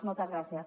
moltes gràcies